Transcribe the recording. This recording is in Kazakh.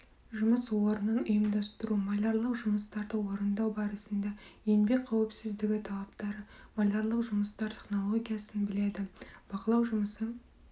жұмыс орнын ұйымдастыру малярлық жұмыстарды орындау барысында еңбек қауіпсіздігі талаптары малярлық жұмыстар технологиясын біледі бақылау жұмысы